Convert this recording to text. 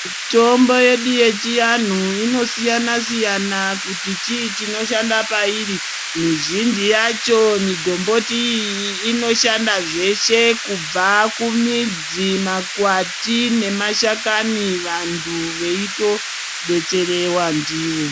Mitombo yedu yechianhu inosiyana siyana kuti chichinoshanda pairi mizhinji yacho migomboti iyi inoshanda zveshe kubva kumidzi makwati nemashakani vantu veitobetserewa ndiyo.